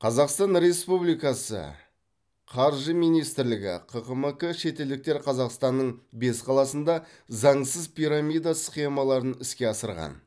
қазақстан республикасы қаржы министрлігі ққмк шетелдіктер қазақстанның бес қаласында заңсыз пирамида схемаларын іске асырған